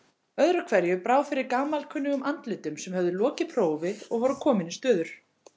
Öðru hverju brá fyrir gamalkunnugum andlitum sem höfðu lokið prófi og voru komin í stöður.